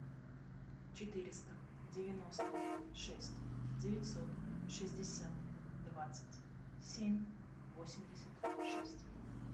четыреста девяносто шесть девятьсот шестьдесят двадцать семь восемьдесят шесть